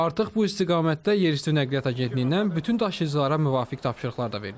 Artıq bu istiqamətdə yerüstü nəqliyyat agentliyindən bütün daşıyıcılara müvafiq tapşırıqlar da verilib.